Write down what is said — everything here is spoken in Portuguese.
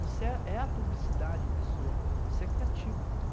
⁹ é é ja⁵ publicidade em pessoa, você é criativo.